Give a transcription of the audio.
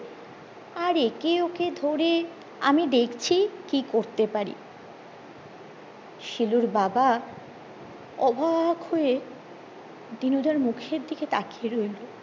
আর একে ওকে ধরে আমি দেখছি কি করতে পারি শিলুর বাবা অবাক হয়ে দিনুদার মুখের দিকে তাকিয়ে রইলো